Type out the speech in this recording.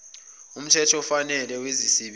nomthetho ofanele wezisebenzi